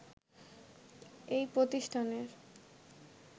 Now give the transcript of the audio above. এই প্রতিষ্ঠানের